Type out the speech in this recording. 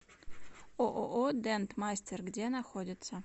ооо дент мастер где находится